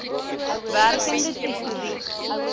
werkende tesourie